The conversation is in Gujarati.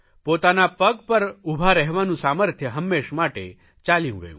પોતાના પગ પર ઉભા રહેવાનું સામર્થ્ય હંમેશ માટે ચાલ્યું ગયું